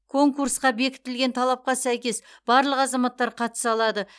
конкурсқа бекітілген талапқа сәйкес барлық азаматтар қатыса алады